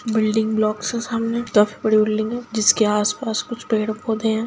Building blocks है सामने दस बड़ी बिल्डिंग है जिसके आस पास कुछ पेड़ पौधे है।